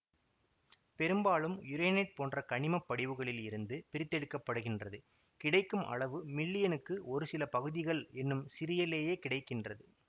பெரும்பாலும் யுரேனைட்டு போன்ற கனிமப்படிவுகளில் இருந்து பிரித்தெடுக்க படுகின்றது கிடைக்கும் அளவு மில்லியனுக்கு ஒரு சில பகுதிகள் என்னும் சிறிய லேயே கிடை கின்றது